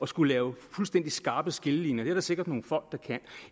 skulle lave fuldstændig skarpe skillelinjer det er der sikkert nogle folk